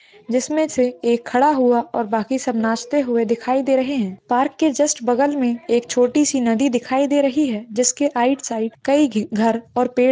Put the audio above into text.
--जिसमें से एक खड़ा हुआ और बाकी सब नाचते हुए दिखाई दे रहे हैं पार्क के जस्ट बगल में एक छोटी सी नदी दिखाई दे रही है जिसके आईट साइड कई घे घर और पेड़--